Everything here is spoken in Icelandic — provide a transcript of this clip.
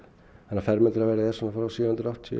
þannig að fermetraverð er svona frá sjö hundruð og áttatíu